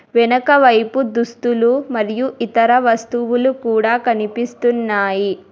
వెనక వైపు దుస్తులు మరియు ఇతర వస్తువులు కూడా కనిపిస్తున్నాయి.